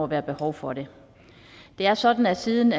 være behov for det det er sådan at siden